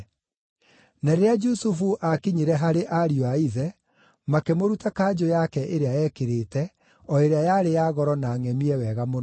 Na rĩrĩa Jusufu aakinyire harĩ ariũ a ithe, makĩmũruta kanjũ yake ĩrĩa eekĩrĩte, o ĩrĩa yarĩ ya goro na ngʼemie wega mũno.